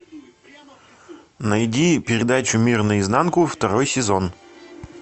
найди передачу мир наизнанку второй сезон